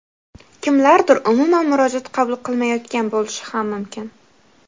kimlardir umuman murojaat qabul qilmayotgan bo‘lishi ham mumkin.